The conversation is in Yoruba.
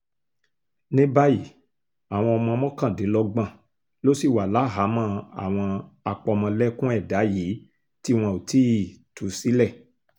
ní báyìí àwọn ọmọ mọ́kàndínlọ́gbọ̀n ló ṣì wà láhàámọ̀ àwọn àpamọ̀lẹ́kùn ẹ̀dà yìí tí wọn ò tí ì tú sílẹ̀